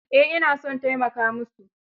Eh ina son taimaka musu.